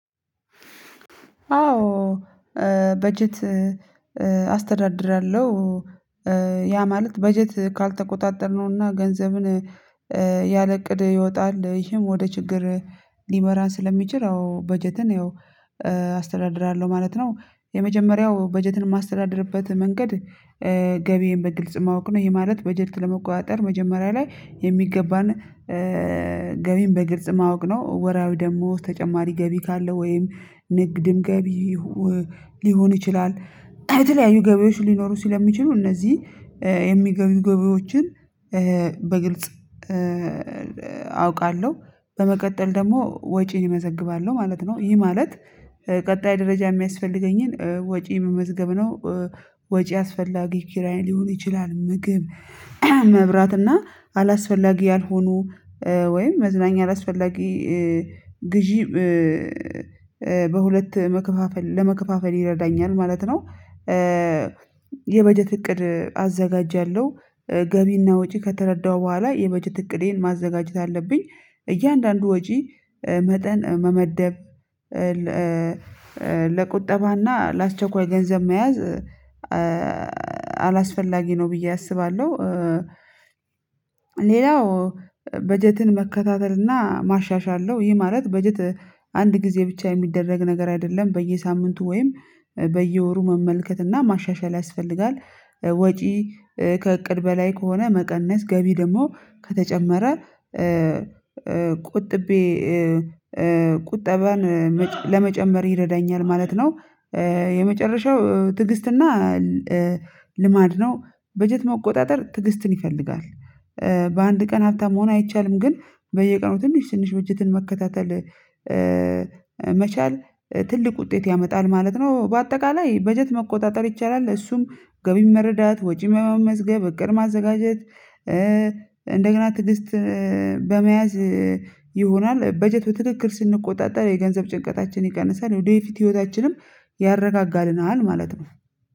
አዎ በጀት አስተዳድራለሁ። ያ ማለት በጀት ካልተቆጣጠርነውና ገንዘብን ያለእቅድ ይወጣል ይሄም ወደ ችግር ሊመራን ስለሚችል አዎ በጀትን አስተዳድራለሁ ማለት ነው። የመጀመሪያው በጀትን ማስተዳደርበት መንገድ ገቢዬን በግልጽ ማወቅ ነው ይሄ ማለት በጀት ለመቆጣጠር መጀመሪያ ላይ የሚገባን ገቢን በግልጽ ማወቅ ነው። ወራዊ ደግሞ ተጨማሪ ገቢ ካለ ወይም ንግድም ገቢ ሊሆን ይችላል የተለያዩ ገቢዎች ሊኖሩ ሲል የሚችሉ እነዚህ የሚገቡ ገቢዎችን በግልጽ አውቃለሁ። በመቀጠል ደግሞ ወጪን መዘግባለው ማለት ነው ይህ ማለት ቀጣይ ደረጃ የሚያስፈልገኝን ወጪ መመዝገብ ነው። ወጪ አስፈላጊ ኪራይ ሊሆን ይችላል ምግብ መብራት እና አላስፈላጊ ያልሆኑ ወይም መዝናኛ አላስፈላጊ ግዢም በሁለት መከፋፈል ለመከፋፈል ይረዳኛል ማለት ነው። የበጀት እቅድ አዘጋጃለሁ ገቢና ወጪ ከተረዳሁ በኋላ የበጀት እቅዴን ማዘጋጀት አለብኝ። እያንዳንዱ ወጪ መጠን መመደብ ለቁጠባና ለአስቸኳይ ገንዘብ መያዝ አላስፈላጊ ነው ብዬ አስባለሁ። ሌላው በጀትን መከታተልና ማሻሻል ነው። ይህ ማለት በጀት አንድ ጊዜ ብቻ የሚደረግ ነገር አይደለም በየሳምንቱ ወይም በየወሩ መመልከት እና ማሻሻል ያስፈልጋል። ወጪ ከእቅድ በላይ ከሆነ መቀነስ ገቢ ደግሞ ከተጨመረ ቆጥቤ ቁጠባን ለመጨመር ይረዳኛል ማለት ነው። የመጨረሻው ትግስትና ልማድ ነው በጀት መቆጣጠር ትግስትን ይፈልጋል። በአንድ ቀን ሀብታም መሆን አይቻልም ግን በየቀኑ ትንሽ ትንሽ በጀትን መከታተል መቻል ትልቅ ውጤት ያመጣል ማለት ነው። በአጠቃላይ በጀት መቆጣጠር ይቻላል እሱም ገቢ መረዳት ወጪ መመዝገብ እቅድ ማዘጋጀት። እንደገና ትዕግስት በመያዝ ይሆናል በጀት በትክክል ስንቆጣጠር የገንዘብ ጭንቀታችን ይቀንሳል የወደፊት ህይወታችንም ያረጋጋልናል ማለት ነው።